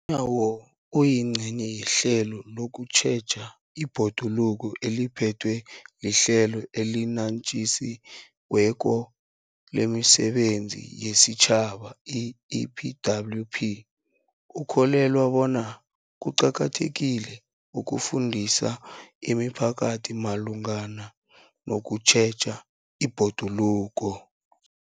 Nyawo, oyingcenye yehlelo lokutjheja ibhoduluko eliphethwe liHlelo eliNatjisi weko lemiSebenzi yesiTjhaba, i-EPWP, ukholelwa bona kuqakathekile ukufundisa imiphakathi malungana nokutjheja ibhoduluko.